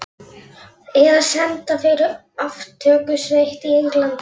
Eða senda fyrir aftökusveit í Englandi.